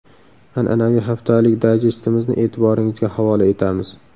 An’anaviy haftalik dayjestimizni e’tiboringizga havola etamiz.